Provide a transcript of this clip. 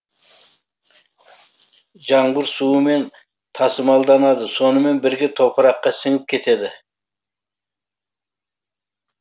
жаңбыр суымен тасымалданады сонымен бірге топыраққа сіңіп кетеді